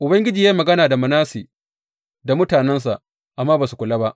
Ubangiji ya yi magana da Manasse da mutanensa, amma ba su kula ba.